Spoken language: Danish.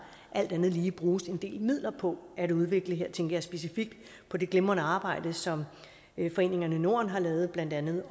alt andet lige bruges en del midler på at udvikle her tænker jeg specifikt på det glimrende arbejde som foreningen norden har lavet om blandt andet